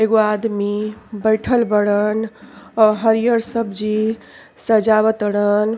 एगो आदमी बइठल बड़न। अ हरिहर सब्जी सजावा तड़न।